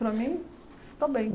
Para mim, está bem.